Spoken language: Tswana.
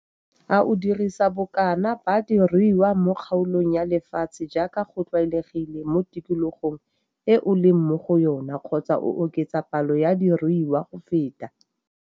A o dirisa bokana ba diruiwa mo kgaolong ya lefatshe jaaka go tlwaelegilwe mo tikologong e o leng mo go yona kgotsa o oketsa palo ya diruiwa go feta?